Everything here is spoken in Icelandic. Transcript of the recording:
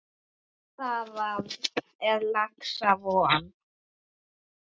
Þar er laxa von.